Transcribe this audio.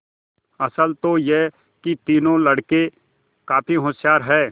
असल तो यह कि तीनों लड़के काफी होशियार हैं